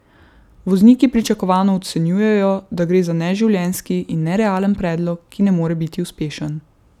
Vozniki pričakovano ocenjujejo, da gre za neživljenjski in nerealen predlog, ki ne more biti uspešen.